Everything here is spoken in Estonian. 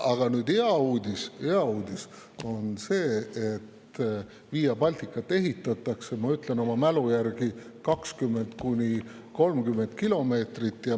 Aga hea uudis on see, et Via Balticat ehitatakse, ma ütlen oma mälu järgi, 20–30 kilomeetrit.